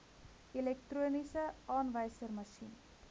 elektroniese aanwyserma sjien